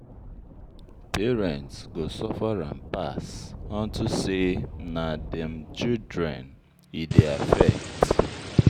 If teachers go strike, na student um go suffer am most.